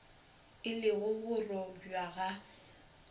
e le go robjwa ga